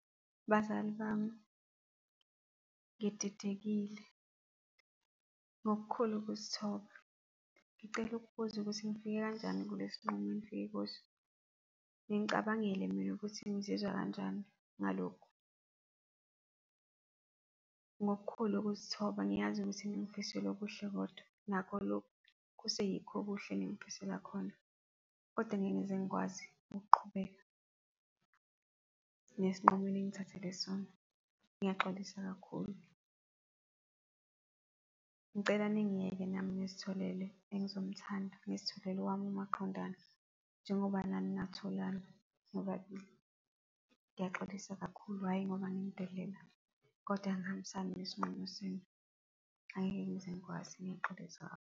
Bazali bami, ngididekile. Ngokukhulu ukuzithoba, ngicela ukubuza ukuthi nifike kanjani kulesinqumo enifike kuso. Ningicabangile mina ukuthi ngizizwa kanjani ngalokhu? Ngokukhulu ukuzithoba, ngiyazi ukuthi ningifisela okuhle kodwa, nakho lokhu kuse yikho okuhle engifisela khona kodwa ngeke ngize ngikwazi ukuqhubeka nesinqumo eningithathele sona. Ngiyaxolisa kakhulu. Ngicela ningiyeke nami ngizitholele engizomuthanda, ngizitholele owami umaqondana, njengoba nani ngatholani nobabili. Ngiyaxolisa kakhulu, hhayi ngoba nginidelela, kodwa angihambisani nesinqumo senu. Angeke ngize ngikwazi, ngiyaxolisa.